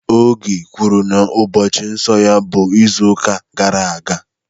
Oge kwuru na ụbọchị nsọ ya bụ izuụka gara aga